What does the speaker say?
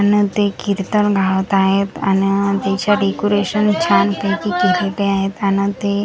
आणि ते कीर्तन गात आहेत आणि त्याचं डेकोरेशन छान पैकी केलेले आहेत आणि ते--